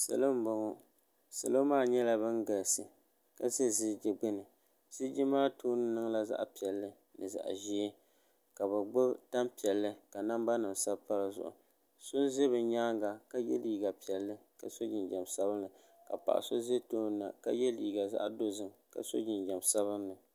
salo n boŋɔ salo maa nyɛla bɛn galisi ka ʒɛ ziliji gbani ziliji maa tuuni niŋ la zaɣ' piɛli ni zaɣ' ʒiɛ ka be bo tampiɛli looli ka nabanim sabipadizuɣ' so n ʒɛ be nyɛŋa ka yɛ ligapiɛli ka so jijam sabilinli ka paɣ' so ʒɛ tuuni na ka yɛ ligazaɣidozim ka so jijam sabilinli